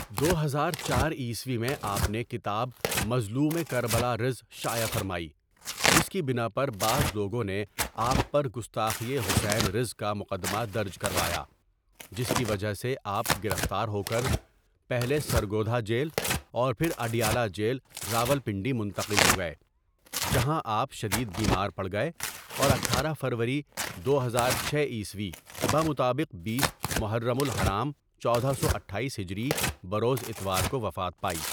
دو ہزار چار عیسوی میں آپ نےکتاب مظلوم کربلارض شائع فرمائی جس کی بناپربعض لوگوں نےآپ پر گستاخئ حسین رض کامقدمہ درج کروایاجس کی وجہ سےآپ گرفتارہوکرپہلےسرگودھاجیل اورپھراڈیالہ جیل راولپنڈی منتقل ہوگئےجہاں آپ شدید بیمار پڑگئے اور اٹھارہ فروری دو ہزار چھ عیسوی بمطابق بیس محرم الحرام چودہ سو اٹھاٮٔیس ہجری بروز اتوار کووفات پائی.